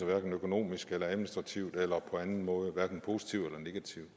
hverken økonomisk administrativt eller på anden måde hverken positivt eller negativt